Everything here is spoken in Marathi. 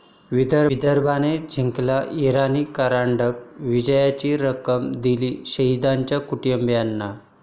विदर्भानं जिंकला इराणी करंडक, विजयाची रक्कम दिली शहिदांच्या कुटुंबीयांना!